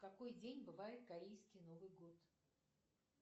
в какой день бывает корейский новый год